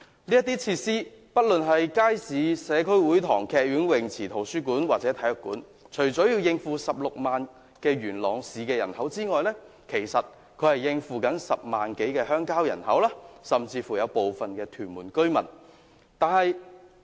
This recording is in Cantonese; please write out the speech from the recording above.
這些設施不論是街市、社區會堂、劇院、泳池、圖書館或體育館，除了要應付16萬元朗市人口外，還要應付10萬多的鄉郊人口甚至部分屯門居民。